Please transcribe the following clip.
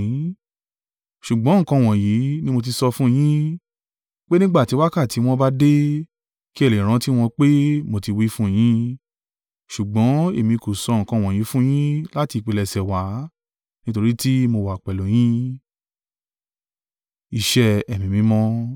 Ṣùgbọ́n nǹkan wọ̀nyí ni mo ti sọ fún yín, pé nígbà tí wákàtí wọn bá dé, kí ẹ lè rántí wọn pé mo ti wí fún yín. Ṣùgbọ́n èmi kò sọ nǹkan wọ̀nyí fún yín láti ìpilẹ̀ṣẹ̀ wá, nítorí tí mo wà pẹ̀lú yín.